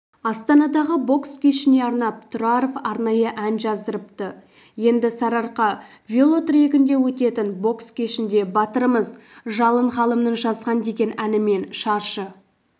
астанадағы бокс кешіне арнап тұраров арнайы ән жаздырыпты енді сарыарқа велотрегінде өтетін бокс кешінде батырымыз жалын ғалымның жазған деген әнімен шаршы